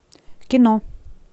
кино